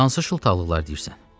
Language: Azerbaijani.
Hansı şıltaqlıqlar deyirsən?